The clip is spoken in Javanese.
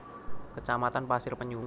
Kecamatan Pasir Penyu